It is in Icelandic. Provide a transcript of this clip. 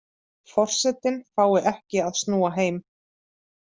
Forsetinn fái ekki að snúa heim